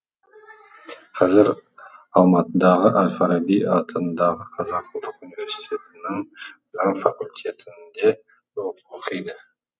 қазір алматыдағы әл фараби атындағы қазақ ұлттық университетінің заң факультетінде оқиды